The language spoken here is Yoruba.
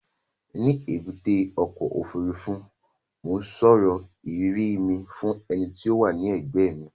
Ní èbúté ọkọ̀-òfurufú, mò ń sọ ìrírí mi fún ẹni tó wà ní ẹ̀gbẹ́ mi